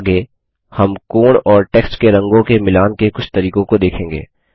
आगे हम कोण और टेक्स्ट के रंगों के मिलान के कुछ तरीकों को देखेंगे